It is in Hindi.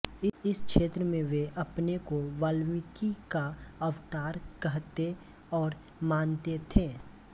इस क्षेत्र में वे अपने को वाल्मीकि का अवतार कहते और मानते थे